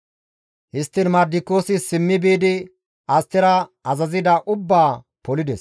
Histtiin Mardikiyoosi simmi biidi Astera azazida ubbaa polides.